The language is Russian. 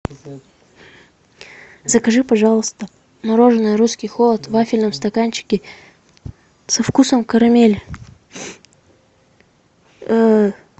закажи пожалуйста мороженое русский холод в вафельном стаканчике со вкусом карамели